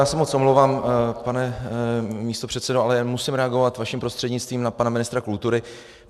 Já se moc omlouvám, pane místopředsedo, ale musím reagovat vaším prostřednictvím na pana ministra kultury.